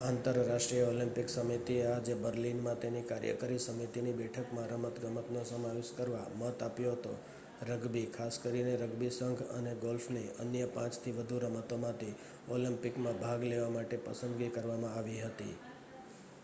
આંતરરાષ્ટ્રીય ઓલિમ્પિક સમિતિએ આજે બર્લિનમાં તેની કાર્યકારી સમિતિની બેઠકમાં રમતગમતનો સમાવેશ કરવા મત આપ્યો હતો રગ્બી ખાસ કરીને રગ્બી સંઘ અને ગોલ્ફની અન્ય 5થી વધુ રમતોમાંથી ઓલિમ્પિકમાં ભાગ લેવા માટે પસંદગી કરવામાં આવી હતી